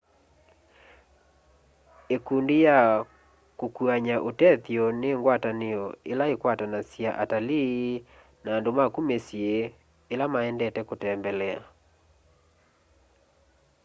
ikundi ya kukuany'a utethyo ni ngwatanio ila ikwatanasya atalii na andu maku misyi ila maendete kutembelea